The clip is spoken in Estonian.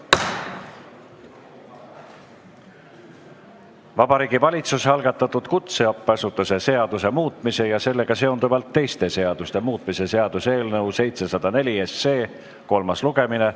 Vabariigi Valitsuse algatatud kutseõppeasutuse seaduse muutmise ja sellega seonduvalt teiste seaduste muutmise seaduse eelnõu 704 kolmas lugemine.